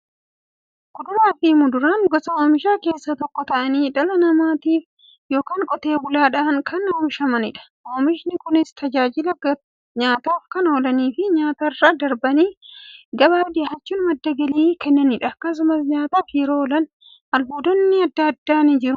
Kuduraafi muduraan gosa oomishaa keessaa tokko ta'anii, dhala namaatin yookiin Qotee bulaadhan kan oomishamaniidha. Oomishni Kunis, tajaajila nyaataf kan oolaniifi nyaatarra darbanii gabaaf dhiyaachuun madda galii kan kennaniidha. Akkasumas nyaataf yeroo oolan, albuuda gosa adda addaa waan qabaniif, fayyaaf barbaachisoodha.